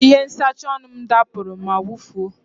Ihe nsacha ọnụ m dapụrụ ma wụfuo.